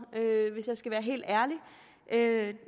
hvis jeg skal være helt ærlig